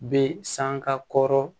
Be san ka kɔrɔ